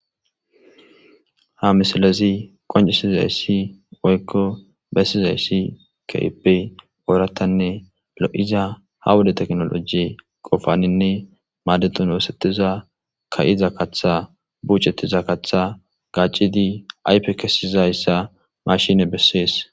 ha misalezi qoncisiza issi oykko bessiza issi kaipey ooratanne lo7iza ha woda teknoloji qofaninne maadetun woosettiza ka7iza kaththa bucettiza katha gaccidi aype kesizayssa mashine bessees